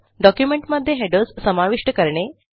डॉक्युमेंटमध्ये हेडर्स समाविष्ट करणे